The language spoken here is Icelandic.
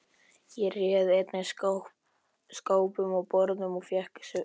Ég réð einnig skápum og borðum og fékk Svein